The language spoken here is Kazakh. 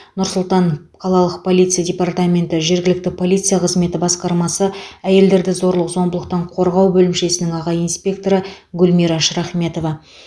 нұр сұлтан қалалық полиция департаменті жергілікті полиция қызметі басқармасы әйелдерді зорлық зомбылықтан қорғау бөлімшесінің аға инспекторы гүлмира шрахметова